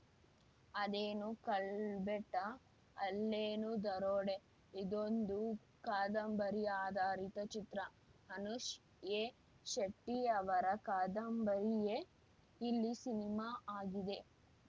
ಅದೇನು ಕಳ್ಬೆಟ್ಟ ಅಲ್ಲೇನು ದರೋಡೆ ಇದೊಂದು ಕಾದಂಬರಿ ಆಧಾರಿತ ಚಿತ್ರ ಅನುಷ್‌ ಎ ಶೆಟ್ಟಿಅವರ ಕಾದಂಬರಿಯೇ ಇಲ್ಲಿ ಸಿನಿಮಾ ಆಗಿದೆ